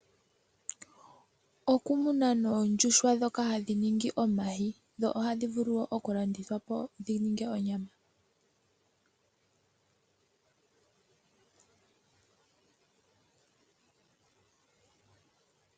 Okumuna oondjuhwa ndhoka hadhi ningi omayi dho ohadhi vulu okulandithwa po dhi ninge onyama.